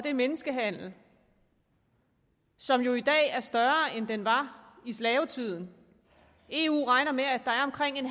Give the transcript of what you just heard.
er menneskehandel som jo i dag er større end den var i slavetiden eu regner med at der er omkring